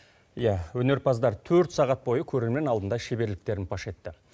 иә өнерпаздар төрт сағат бойы көрермен алдында шеберліктерін паш етті